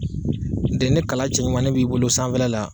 N'tɛ ni kala cɛɲumani b'i bolo sanfɛla la.